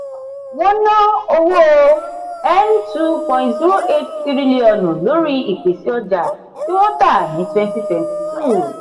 wọn ná owó n two point two eight trillion lórí ìpèsè ọjà tí wọn tà ní twenty twenty two.